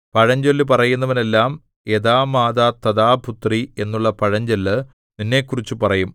പഴഞ്ചൊല്ല് പറയുന്നവനെല്ലാം യഥാമാതാതഥാപുത്രീ എന്നുള്ള പഴഞ്ചൊല്ല് നിന്നെക്കുറിച്ച് പറയും